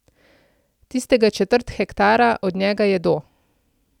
Tistega četrt hektara, od njega jedo.